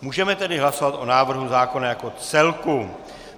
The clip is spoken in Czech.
Můžeme tedy hlasovat o návrhu zákona jako celku.